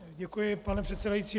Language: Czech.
Děkuji, pane předsedající.